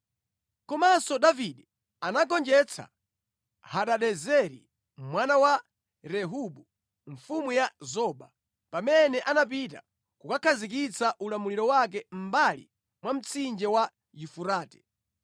Komanso Davide anagonjetsa Hadadezeri mwana wa Rehobu, mfumu ya Zoba, pamene anapita kukakhazikitsa ulamuliro wake mʼmbali mwa mtsinje wa Yufurate.